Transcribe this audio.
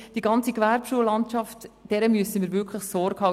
Dieser ganzen Gewerbeschullandschaft müssen wir wirklich Sorge tragen.